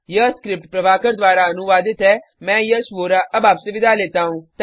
यह स्क्रिप्ट प्रभाकर द्वारा अनुवादित है मैं यश वोरा अब आपसे विदा लेता हूँ